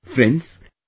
Friends,